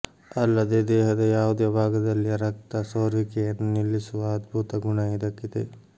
ಅಲ್ಲದೆ ದೇಹದ ಯಾವುದೇ ಭಾಗದಲ್ಲಿಯ ರಕ್ತ ಸೋರುವಿಕೆಯನ್ನು ನಿಲ್ಲಿಸುವ ಅದ್ಭುತ ಗುಣ ಇದಕ್ಕಿದೆ